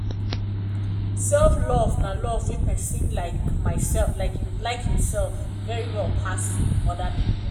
self love love nah when pesin like imself very well pass oda pipo.